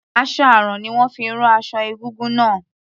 Aṣọ àrán ni wón fi rán aṣọ egúngún náà.